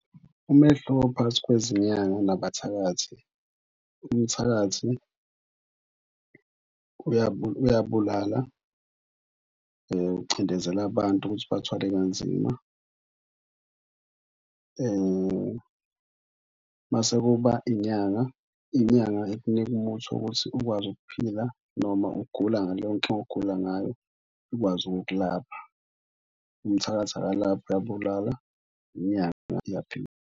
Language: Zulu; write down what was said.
Umehluko phakathi kwezinyanga nabathakathi, umthakathi uyabulala, ucindezela abantu ukuthi bathwale kanzima. Mase kuba inyanga, inyanga ikunika umuthi wokuthi ukwazi ukuphila noma ugula ngaloyo nto ogula ngayo ikwazi ukukulapha. Umthakathi akalaphi uyabulala. Inyanga iyaphila.